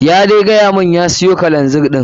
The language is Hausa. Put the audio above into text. Ya dai gayamun ya siyo kero ɗin.